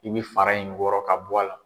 I bɛ fara in wɔrɔ ka bɔ a la.